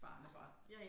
Barnebarn